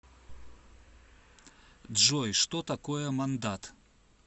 джой что такое мандат